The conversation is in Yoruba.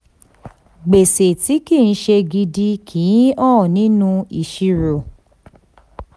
gbèsè tí kì í ṣe gidi kì í hàn nínú ìṣirò.